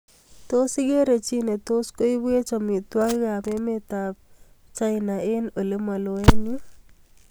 Tos igeere chi netos koibwech amitwogikab emetab chinaek eng olemaloo eng yuu